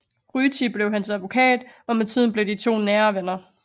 Ryti blev hans advokat og med tiden blev de to nære venner